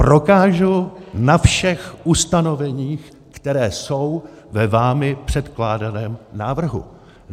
Prokážu na všech ustanoveních, která jsou ve vámi předkládaném návrhu.